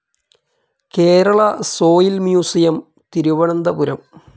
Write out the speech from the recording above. Kerala soil museum, Thiruvananthapuram